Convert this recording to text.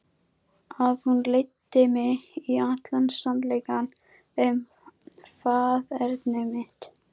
Að hún leiddi mig í allan sannleikann um faðerni mitt.